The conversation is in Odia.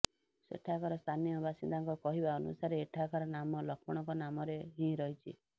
ସେଠାକାର ସ୍ଥାନୀୟ ବାସିନ୍ଦାଙ୍କ କହିବା ଅନୁସାରେ ଏଠାକାର ନାମ ଲକ୍ଷ୍ମଣଙ୍କ ନାମରେ ହିଁ ରହଛି